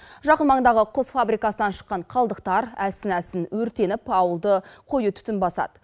жақын маңдағы құс фабрикасынан шыққан қалдықтар әлсін әлсін өртеніп ауылды қою түтін басады